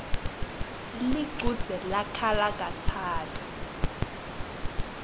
lichudze lakhala katsatfu